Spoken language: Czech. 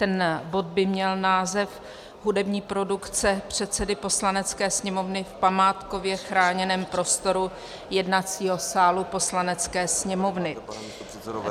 Ten bod by měl název Hudební produkce předsedy Poslanecké sněmovny v památkově chráněném prostoru jednacího sálu Poslanecké sněmovny.